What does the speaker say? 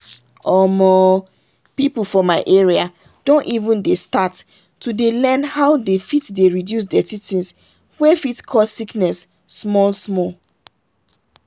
omoooo people for my area don even dey start to dey learn how they fit dey reduce dirty things wey fit cause sickness small small.